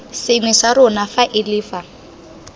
sengwe sa rona faele fa